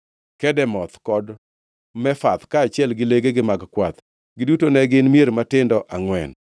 Kedemoth kod Mefath, kaachiel gi legegi mag kwath. Giduto ne gin mier matindo angʼwen.